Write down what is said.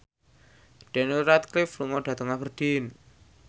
Daniel Radcliffe lunga dhateng Aberdeen